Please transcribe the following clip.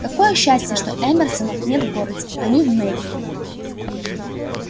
какое счастье что эмерсонов нет в городе они в мейконе